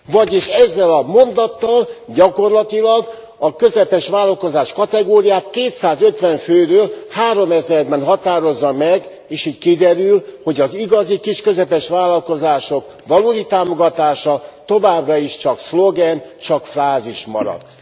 Vagyis ezzel a mondattal gyakorlatilag a közepes vállalkozás kategóriát kétszázötven fő helyett háromezerben határozza meg, és így kiderül, hogy az igazi kis és közepes vállalkozások valódi támogatása továbbra is csak szlogen, csak frázis marad.